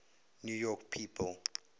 new york people